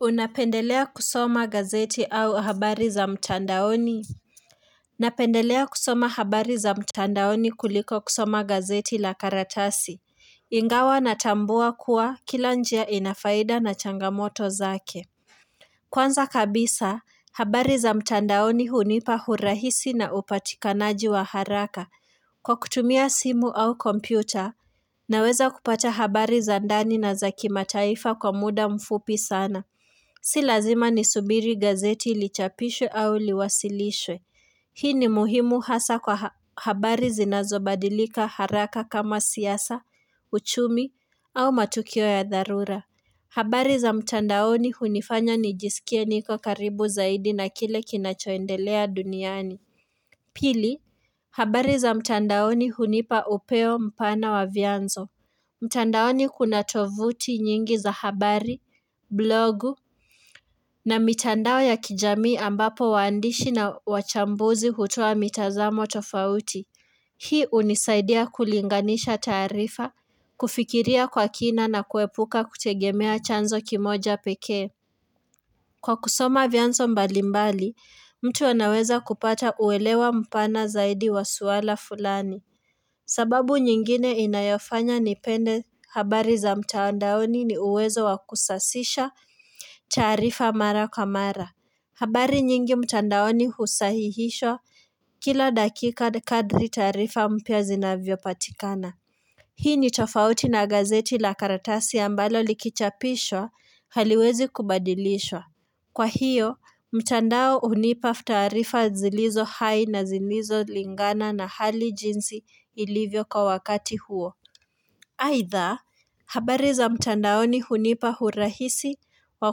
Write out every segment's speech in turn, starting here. Unapendelea kusoma gazeti au habari za mtandaoni? Napendelea kusoma habari za mtandaoni kuliko kusoma gazeti la karatasi ingawa natambua kuwa kila njia ina faida na changamoto zake kwanza kabisa habari za mtandaoni hunipa hurahisi na upatikanaji wa haraka kwa kutumia simu au kompyuta naweza kupata habari za ndani na za kimataifa kwa muda mfupi sana Si lazima nisubiri gazeti lichapishwe au liwasilishwe. Hii ni muhimu hasa kwa habari zinazobadilika haraka kama siasa, uchumi au matukio ya dharura. Habari za mtandaoni hunifanya nijisikie niko karibu zaidi na kile kinachoendelea duniani. Pili, habari za mtandaoni hunipa upeo mpana wa vyanzo. Mtandaoni kuna tovuti nyingi za habari, blogu na mitandao ya kijami ambapo waandishi na wachambuzi hutoa mitazamo tofauti. Hii hunisaidia kulinganisha tarifa, kufikiria kwa kina na kuepuka kutegemea chanzo kimoja peke. Kwa kusoma vyanzo mbalimbali, mtu anaweza kupata uelewa mpana zaidi wa suala fulani. Sababu nyingine inayofanya nipende habari za mtandaoni ni uwezo wa kusasisha taarifa mara kwa mara. Habari nyingi mtandaoni husahihishwa kila dakika kadri taarifa mpya zinavyo patikana. Hii ni tofauti na gazeti la karatasi ambalo likichapishwa haliwezi kubadilishwa. Kwa hiyo, mtandao hunipa tarifa zilizo hai na zilizo lingana na hali jinsi ilivyo kwa wakati huo. Aidha, habari za mtandaoni hunipa urahisi wa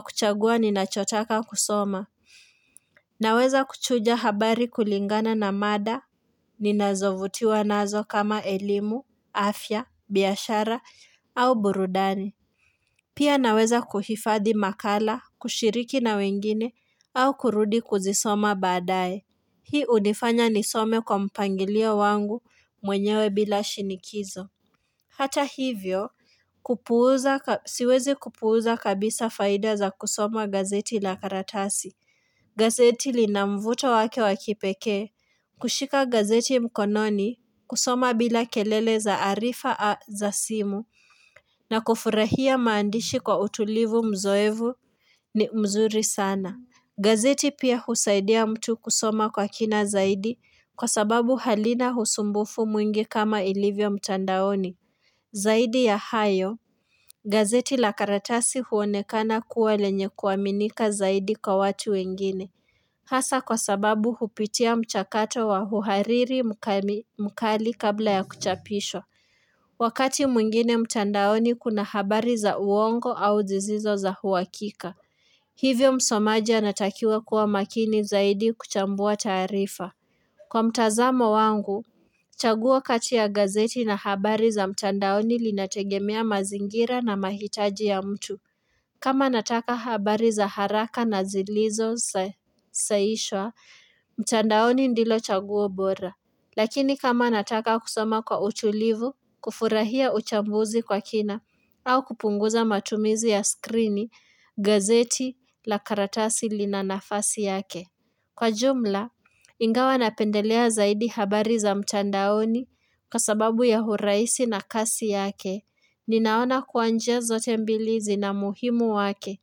kuchagua ninachotaka kusoma. Naweza kuchuja habari kulingana na mada, ninazovutiwa nazo kama elimu, afya, biashara au burudani. Pia naweza kuhifadhi makala, kushiriki na wengine, au kurudi kuzisoma baadaye. Hii hunifanya nisome kwa mpangilio wangu mwenyewe bila shinikizo. Hata hivyo, siwezi kupuuza kabisa faida za kusoma gazeti la karatasi. Gazeti lina mvuto wake wa kipekee, kushika gazeti mkononi, kusoma bila kelele za arifa za simu, na kufurahia maandishi kwa utulivu mzoevu ni mzuri sana. Gazeti pia husaidia mtu kusoma kwa kina zaidi kwa sababu halina usumbufu mwingi kama ilivyo mtandaoni. Zaidi ya hayo, gazeti la karatasi huonekana kuwa lenye kuaminika zaidi kwa watu wengine. Hasa kwa sababu hupitia mchakato wa uhariri mkali kabla ya kuchapishwa. Wakati mwingine mtandaoni kuna habari za uongo au zisizo za uhakika. Hivyo msomaji anatakiwa kuwa makini zaidi kuchambua taarifa. Kwa mtazamo wangu, chaguo kati ya gazeti na habari za mtandaoni linategemea mazingira na mahitaji ya mtu. Kama nataka habari za haraka na zilizo sahishwa, mtandaoni ndilo chaguo bora. Lakini kama nataka kusoma kwa utulivu, kufurahia uchambuzi kwa kina, au kupunguza matumizi ya skrini, gazeti, la karatasi lina nafasi yake. Kwa jumla, ingawa napendelea zaidi habari za mtandaoni kwa sababu ya urahisi na kasi yake. Ninaona kuwa njia zote mbili zina muhimu wake.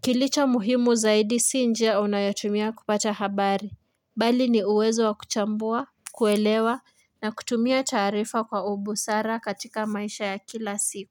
Kilicha muhimu zaidi si njia unayotumia kupata habari. Bali ni uwezo wa kuchambua, kuelewa na kutumia taarifa kwa ubusara katika maisha ya kila siku.